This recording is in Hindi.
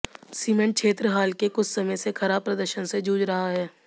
सीमेंट क्षेत्र हाल के कुछ समय से खराब प्रदर्शन से जूझ रहा है